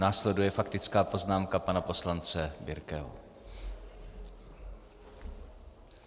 Následuje faktická poznámka pana poslance Birkeho.